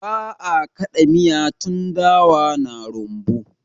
Ba'a ã kada miya tun dawa na rumbu.